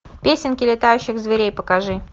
песенки летающих зверей покажи